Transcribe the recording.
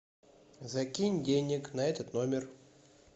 закинь денег на этот номер